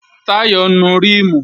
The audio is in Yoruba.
Táyọ̀ ń nu ríìmù